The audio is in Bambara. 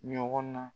Ɲɔgɔn na